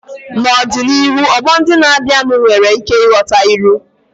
N'ọdịnihu, ọgbọ ndị na-abịanụ nwere ike ịghọta ilu.